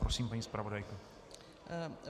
Prosím, paní zpravodajko.